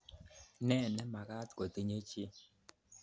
Ne nemakat kotinye chi?